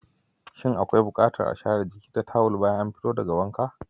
Shin akwai bukatar a share jiki da tawul bayan an fito daga wanka?